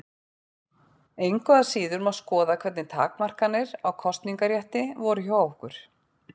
Engu að síður má skoða hvernig takmarkanir á kosningarétti voru hjá okkur.